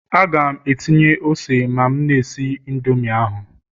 Aga m etinye ose ma m na-esi Indomi ahụ